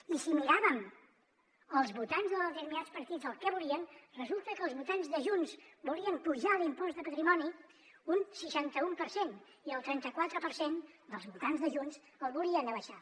i si mirem els votants de determinats partits el que volien resulta que els votants de junts volien apujar l’impost de patrimoni un seixanta u per cent i el trenta quatre per cent dels votants de junts el volien abaixar